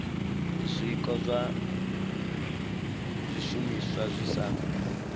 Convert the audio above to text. zwiko zwa zwishumiswa zwi sa